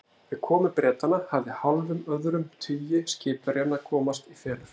Við komu Bretanna hafði hálfum öðrum tugi skipverjanna komast í felur.